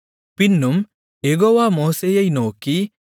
பின்னும் யெகோவா மோசேயை நோக்கி